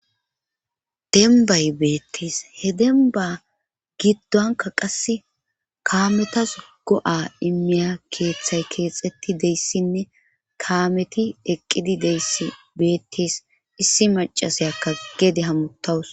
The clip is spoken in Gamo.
Dembbay beettes. he dembba giddonka qass kaametas go7a immiya keeththay keexetti deyssinne kaameti eqqidi deyssi beettis issi macasayakka geede hamutawus.